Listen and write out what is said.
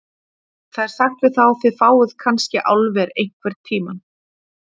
Það er sagt við þá: Þið fáið kannske álver einhvern tíma.